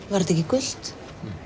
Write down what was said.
var þetta ekki gult